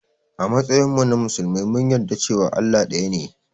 A matsayinmu na musulmi mun yarda cewa Allah ɗaya ne.